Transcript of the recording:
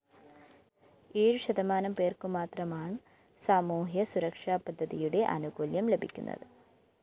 ഏഴ്‌ ശതമാനം പേര്‍ക്കുമാത്രമാണ്‍സാമൂഹ്യ സുരക്ഷപദ്ധതിയുടെ ആനുകൂല്യം ലഭിക്കുന്നത്‌